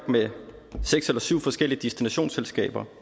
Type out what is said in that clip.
med seks eller syv forskellige destinationsselskaber